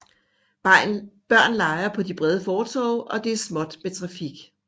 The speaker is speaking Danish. Børn leger på de brede fortove og det er småt med trafik